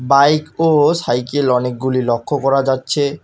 Bike ও cycle অনেকগুলি লক্ষ্য করা যাচ্ছে।